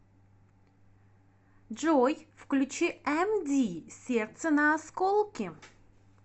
джой включи эмди сердце на осколки